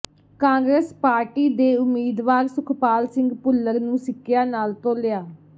Congress party ਦੇ ਉਮੀਦਵਾਰ ਸੁਖਪਾਲ ਸਿੰਘ ਭੁੱਲਰ ਨੂੰ ਸਿੱਕਿਆ ਨਾਲ ਤੋਲਿਆ